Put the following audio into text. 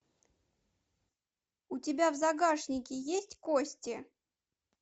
у тебя в загашнике есть кости